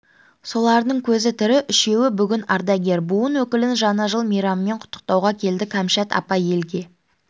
солардың көзі тірі үшеуі бүгін ардагер буын өкілін жаңа жыл мейрамымен құттықтауға келді кәмшат апа елге